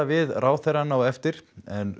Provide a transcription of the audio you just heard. við ráðherrann á eftir en